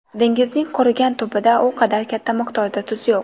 Dengizning qurigan tubida u qadar katta miqdorda tuz yo‘q.